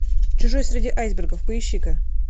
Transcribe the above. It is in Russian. чужой среди айсбергов поищи ка